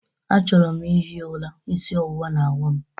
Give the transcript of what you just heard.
Achọrọ m ihi ụra, isi ọwụwa na-awa m